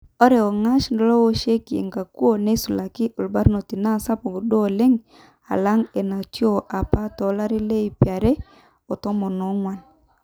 Ore ongash lowoshieki enkukuo neisulaki irbanot naa sapuk duo oleng alang enatiu apa tolari leip are otomon onguan.